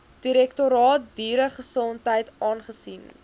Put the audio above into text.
direktoraat dieregesondheid aangesien